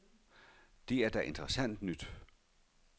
Det er da interessant nyt.